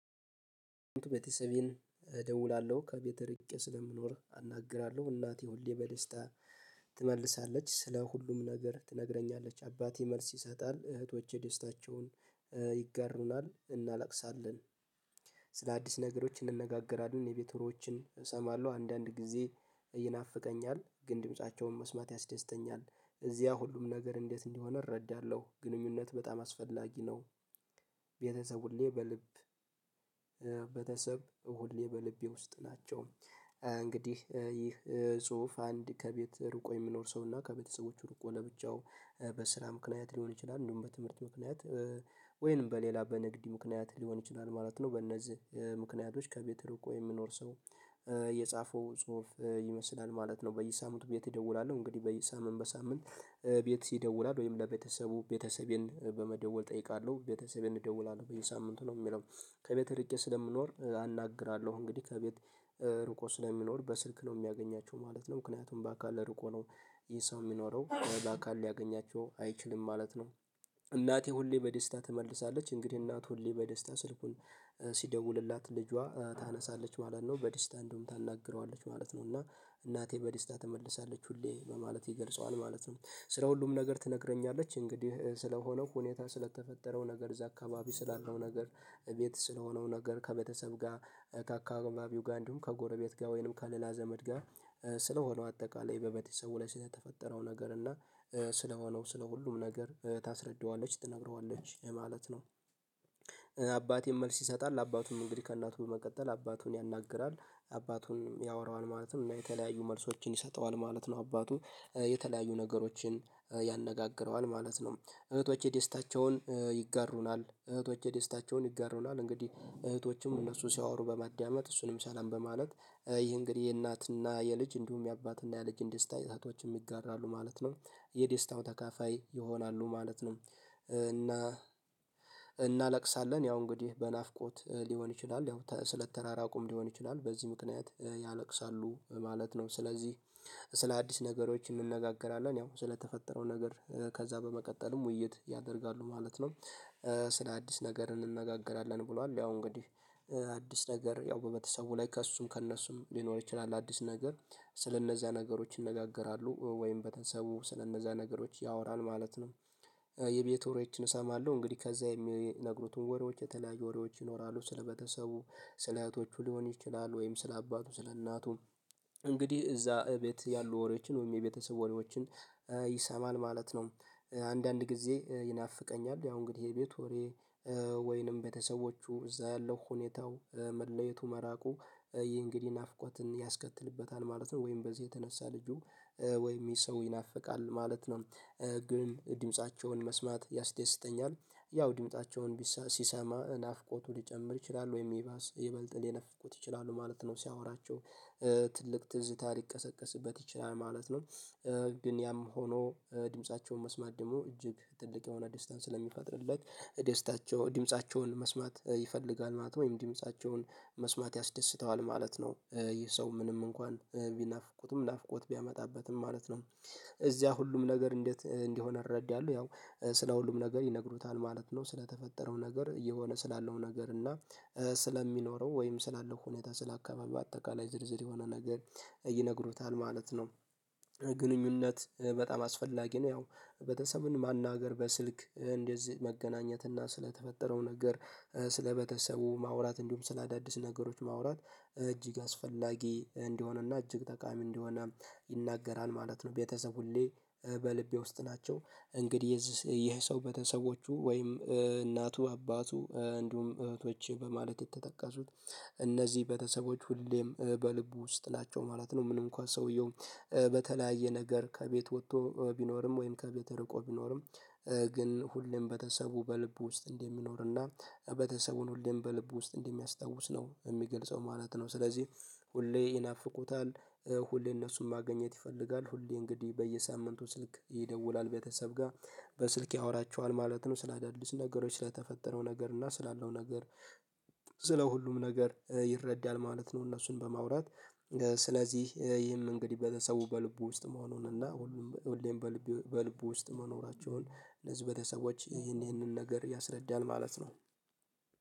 ቤተሰቤን እደውላለሁ ከቤት እርቄ ስለምኖር አናግራለሁ እናቴ ሁሌ በደስታ ትመልሳለች ስለ ሁሉም ነገር ትነግረኛለች። አባቴ መልስ ይሰጣል እህቶቼ ደስታቸውን ይጋርሩናል እናለቅሳለን። ስለ አዲስ ነገሮች እንነጋገራለን የቤት ወሬዎችን እሰማለሁ አንዳንድ ጊዜ ይናፍቀኛል። ግን ድምፃቸውን መስማት ያስደስተኛል እዚያ ሁሉም ነገር እንዴት እንዲሆነ እረዳለሁ። ግንኙነት በጣም አስፈላጊ ነው። ቤተሰቡን ሁሌ በልብ ቤተሰብ ሁሌ በልቤ ውስጥ። እንግዲህ ይህ ጽሁፍ አንድ ከቤት ርቆ የሚኖር ሰው እና ከቤተሰቦቹ ርቆ ለብቻው በስራ ምክንያት ሊሆን ይችላል እንደውም በትምህርት ምክንያት ወይንም በሌላ በንግድ ምክንያት ሊሆን ይችላል ማለት ነው። በእነዚህ ምክንያቶች ከቤት ርቆ እኮ የሚኖር ሰው የጻፈው ጽሁፍ ይመስላል ማለት ነው። በየሳምንቱ ቤት እደውላለሁ እንግዲህ በየሳምንቱ በሳምንት ቤት ይደውላል ወይም ለቤተሰቡ ቤተሰቤን በመደወል እጠይቃለሁ ቤተሰቤን እደውላለሁ በየሳምንቱ ነው የሚለው። ከቤት ርቄ ስለምኖር አናግራለሁ እንግዲህ ከቤት ርቆ ስለሚኖር በስልክ ነው የሚያገኛቸው ማለት ነው። ምክንያቱም በአካል ለርቆ ነው። ይሄ ሰው የሚኖረው በአካል ሊያገኛቸው አይችልም ማለት ነው። እናቴ ሁሌ በደስታ ትመልሳለች እንግዲህ እናት ሁሌ በደስታ ስልኩን ሲደውልላት ልጇ ታነሳለች ማለት ነው በደስታ እንዲሁም ታናግረዋለች ማለት ነው። እና እናቴ በደስታ ትመልሳለች ሁሌ በማለት ይገልጸዋል ማለት ነው። ስለ ሁሉም ነገር ትነግረኛለች እንግዲህ ስለሆነው ሁኔታ ስለተፈጠረው ነገር እዛ አካባቢ ስላለው ነገር እቤት ስለሆነው ነገር ከቤተሰብ ጋር ከአካባቢው ጋር እንዲሁም ከጎረቤት ጋር ወይንም ከሌላ ዘመድ ጋር ስለሆነው አጠቃላይ በቤተሰቡ ላይ ስለተፈጠረው ነገር እና ስለሆነው ስለ ሁሉም ነገር ታስረዳዋለች ትነግረዋለች ማለት ነው። አባቴን መልስ ይሰጣል አባቱም እንግዲህ ከእናቱ በመቀጠል አባቱን ያናግራል አባቱን ያወራዋል ማለት ነው። እና የተለያዩ መልሶችን ይሰጠዋል ማለት ነው አባቱ የተለያዩ ነገሮችን ያነጋግረዋል ማለት ነው። እህቶቼ ደስታቸውን ይጋሩናል እህቶቼ ደስታቸውን ይጋሩናል እንግዲህ እህቶችም እነሱ ሲያወሩ በማዳመጥ እሱንም ሰላም በማለት ይህ እንግዲህ የእናትና የልጅ እንዲሁም የአባት እና የልጅን ደስታ እህቶች ይጋራሉ ማለት ነው የደስታው ተካፋይ ይሆናሉ ማለት ነው። እና እናለቅሳለን ያው እንግዲህ በናፍቆት ሊሆን ይችላል ያው ስለተራራቁም ሊሆን ይችላል በዚህ ምክንያት ያነቅሳሉ ማለት ነው። ስለዚህ ስለ አዲስ ነገሮች እንነጋገራለን ያው ስለተፈጠረው ነገር ከዛ በመቀጠልም ውይይት ያደርጋሉ ማለት ነው። ስለ አዲስ ነገር እንነጋገራለን ብሏል ያው እንግዲህ አዲስ ነገር ያው በቤተሰቡ ላይ ከእሱም ከእነሱም ሊኖር ይችላል አዲስ ነገር ስለእነዚያ ነገሮች ይነጋገራሉ ወይም ቤተሰቡ ስለነዛ ነገሮች ያወራል ማለት ነው። የቤት ወሬዎችን እሰማለሁ እንግዲህ ከዛ የሚነግሩትን ወሬዎች የተለያየ ወሬዎች ይኖራሉ ስለቤተሰቡ ስለእህቶቹ ሊሆን ይችላል ወይም ስለአባቱ ስለእናቱም እንግዲህ እዛ እቤት ያሉ ወሬዎችን ወይም የቤተሰብ ወሬዎችን ይሰማል ማለት ነው። አንዳንድ ጊዜ ይናፍቀኛል ያው እንግዲህ ይሄ የቤት ወሬ ወይንም ቤተሰቦቹ እዛ ያለው ሁኔታው መለየቱ መራቁ ይህ እንግዲህ ናፍቆትን ያስከትልበታል ማለት ነው። ወይም በዚህ የተነሳ ልጁ ወይም ይሄ ሰው ይናፍቃል ማለት ነው። ግን ድምፃቸውን መስማት ያስደስተኛል ያው ድምፃቸውን ሲሰማ ናፍቆቱ ሊጨምር ይችላል ወይ ይባስ ይበልጥ ሊነፍቁት ይችላሉ ማለት ነው። ሲያወራቸው ትልቅ ትዝታ ሊቀሰቀስበት ይችላል ማለት ነው። ግን ያም ሆኖ ድምፃቸውን መስማት ደግሞ እጅግ ትልቅ የሆነ ደስታን ስለሚፈጥርለት ደስታቸው ድምፃቸውን መስማት ይፈልጋል ማለት ነው። ወይም ድምፃቸውን መስማት ያስደስተዋል ማለት ነው። ይህ ሰው ምንም እንኳን ቢናፍቁትም ናፍቆት ቢያመጣበትም ማለት ነው። እዚያ ሁሉም ነገር እንዴት እንዲሆን እረዳለሁ ያው ስለ ሁሉም ነገር ይነግሩታል ማለት ነው። ስለተፈጠረው ነገር እየሆነ ስላለው ነገር እና ስለሚኖረው ወይም ስላለው ሁኔታ ስለ አካባቢው አጠቃላይ ዝርዝር የሆነ ነገር ይነግሩታል ማለት ነው። ግንኙነት በጣም አስፈላጊ ነው። ያው ቤተሰብን ማናገር በስልክ እንደዚህ መገናኘት እና ስለተፈጠረው ነገር ስለቤተሰቡ ማውራት እንዲሁም ስለአዳደስ ነገሮች ማውራት እጅግ አስፈላጊ እንዲሆንና እጅግ ተቃሚ እንደሆነ ይናገራል ማለት ነው። ቤተሰብ ሁሌ በልቤ ውስጥ ናቸው። እንግዲህ ይሄ ሰው ቤተሰዎቹ ወይም እናቱ አባቱ እንዲሁም እህቶች በማለት የተጠቀሱት እነዚህ ቤተሰቦች ሁሌም በልቡ ውስጥ ናቸው ማለት ነው። ምንም እንኳን ሰውየው በተለያየ ነገር ከቤት ወጥቶ ቢኖርም ወይም ከቤተ እርቆ ቢኖርም። ግን ሁሌም ቤተሰቡ በልቡ ውስጥ እንደሚኖርና ቤተሰቡን ሁሌም በልቡ ውስጥ እንደሚያስታውስ ነው የሚገልጸው ማለት ነው። ስለዚህ ሁሌ ይናፍቁታል ሁሌ እነሱን ማገኘት ይፈልጋል ሁሌ እንግዲህ በየሳምንቱ ስልክ ይደውላል ቤተሰብ ጋር በስልክ ያወራቸዋል ማለት ነው። ስለዳደልስ ነገሮች ስለተፈጠረው ነገር እና ስላለው ነገር ስለ ሁሉም ነገር ይረዳል ማለት ነው። እነሱን በማውራት ስለዚህ ይህን እንግዲህ ቤተሰቡ በልቡ ውስጥ መሆኑን እና ሁሌም በልቡ ውስጥ መኖራቸውን እነዚህ ቤተሰቦች ይህንን ነገር ያስረዳናል ማለት ነው